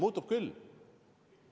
Muutus küll!